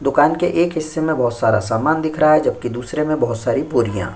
दुकान के एक हिस्से मे बोहोत सारा सामान दिख रहा है जबकि दूसरे मे बोहोत सारी बोरियाँ।